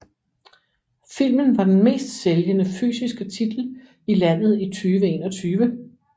Filmen var den mest sælgende fysiske titel i landet i 2021